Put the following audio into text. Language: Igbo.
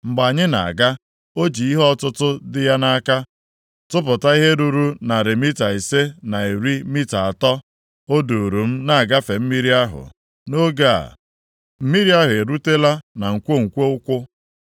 Mgbe anyị na-aga, o ji ihe ọtụtụ dị ya nʼaka tụpụta ihe ruru narị mita ise na iri mita atọ. O duuru m na-agafe mmiri ahụ. Nʼoge a, mmiri ahụ erutela na nkwonkwo ụkwụ.